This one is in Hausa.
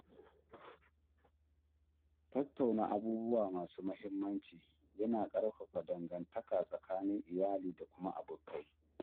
Tattauna abubuwa masu muhimmanci yana ƙarfafa dangantaka tsakanin iyali da kuma abokai.